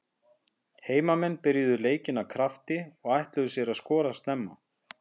Heimamenn byrjuðu leikinn af krafti og ætluðu sér að skora snemma.